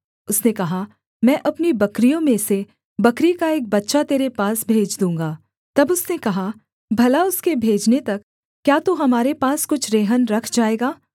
उसने कहा मैं अपनी बकरियों में से बकरी का एक बच्चा तेरे पास भेज दूँगा तब उसने कहा भला उसके भेजने तक क्या तू हमारे पास कुछ रेहन रख जाएगा